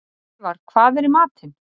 Snævarr, hvað er í matinn?